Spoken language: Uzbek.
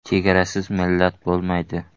“Chegarasiz millat bo‘lmaydi.